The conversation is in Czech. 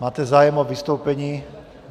Máte zájem o vystoupení?